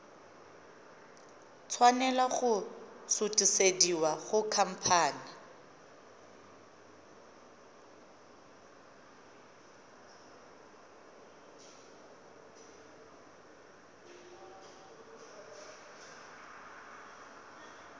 tshwanela go sutisediwa go khamphane